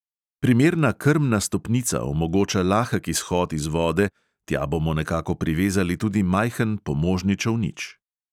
Primerna krmna stopnica omogoča lahek izhod iz vode, tja bomo nekako privezali tudi majhen pomožni čolnič.